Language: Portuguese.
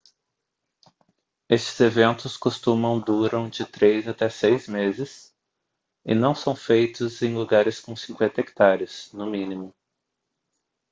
estes eventos costumam duram de três até seis meses e são feitos em lugares com 50 hectares no mínimo